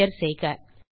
enter செய்க